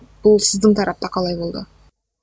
бұл сіздің тарапта қалай болды